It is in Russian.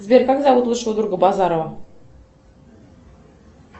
сбер как зовут лучшего друга базарова